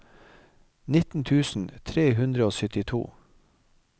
nitten tusen tre hundre og syttito